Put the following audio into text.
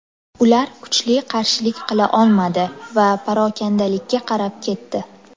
Ular kuchli qarshilik qila olmadi va parokandalikka qarab ketdi.